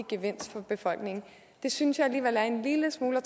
gevinst for befolkningen det synes jeg alligevel er en lille smule at